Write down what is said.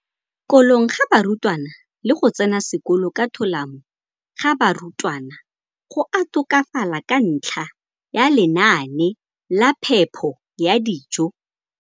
kolong ga barutwana le go tsena sekolo ka tolamo ga barutwana go a tokafala ka ntlha ya lenaane la phepo ya dijo.